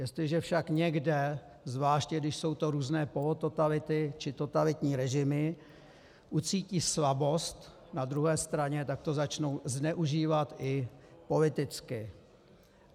Jestliže však někde, zvláště když jsou to různé polototality či totalitní režimy, ucítí slabost na druhé straně, tak to začnou zneužívat i politicky.